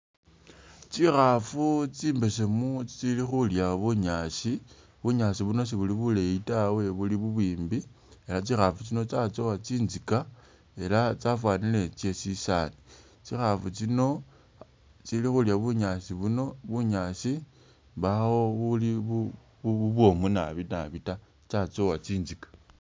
Tsikhafu tsimbesemu tsili khulya bunyaasi bunyaasi buno sibuli buleyi tawe buli bubwimbi ela tsikhafu tsino tsatsowa tsintsiga ela tsafanile tse shisaali, tsikhafu tsino tsili khulya bunyaasi buno bunyaasi mbawo buli bubwomu naabi ta tsatsowa tsintsika.